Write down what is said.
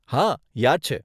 હા, યાદ છે.